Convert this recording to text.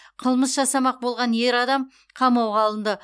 қылмыс жасамақ болған ер адам қамауға алынды